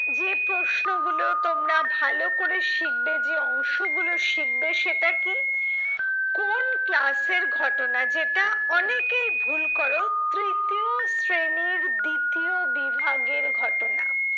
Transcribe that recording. যে প্রশ্ন গুলো তোমরা ভালো করে শিখবে যে অংশ গুলো শিখবে সেটা কি? কোন class এর ঘটনা যেটা অনেকেই ভুল করো তৃতীয় শ্রেণীর দ্বিতীয় বিভাগের ঘটনা।